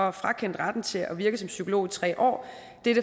og frakendt retten til at virke som psykolog i tre år